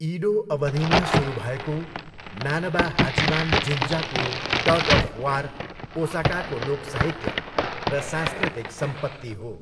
इडो अवधिमा सुरु भएको, नानबा हाचिमान जिन्जाको टग, अफ, वार, ओसाकाको लोकसाहित्य र सांस्कृतिक सम्पत्ति हो।